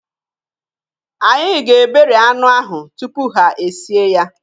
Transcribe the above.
Ha ga-eberi anụ ahụ tupu ha e sie ya